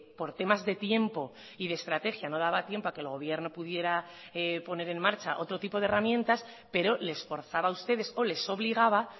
por temas de tiempo y de estrategia no daba tiempo a que el gobierno pudiera poner en marcha otro tipo de herramientas pero les forzaba a ustedes o les obligaba